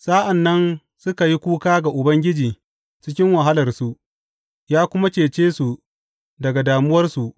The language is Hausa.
Sa’an nan suka yi kuka ga Ubangiji cikin wahalarsu, ya kuma cece su daga damuwarsu.